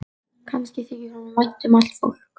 Kannski þykir honum vænt um allt fólk.